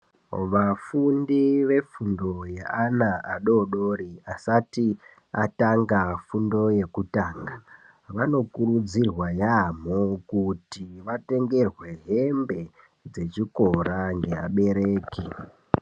Vafundi vefundo yeana adoodori asati atanga fundo yekutanga vanokurudzirwa yaamo kuti vatengerwe hembe dzechikora neabereki.